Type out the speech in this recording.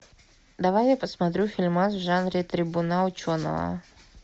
давай я посмотрю фильмас в жанре трибуна ученого